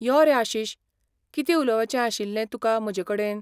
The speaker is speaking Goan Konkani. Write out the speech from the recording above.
यो रे, आशिश, कितें उलोपाचें आशिल्लें तुका म्हजेकडेन?